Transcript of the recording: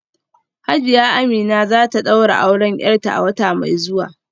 Hajiya Amina za ta daura auren ‘yarta a wata mai zuwa